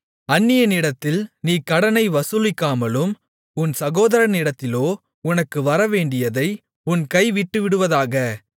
அந்நியனிடத்தில் நீ கடனை வசூலிக்கலாம் உன் சகோதரனிடத்திலோ உனக்கு வரவேண்டியதை உன் கை விட்டுவிடுவதாக